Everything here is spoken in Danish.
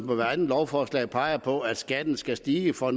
ved hvert andet lovforslag peger på at skatten skal stige for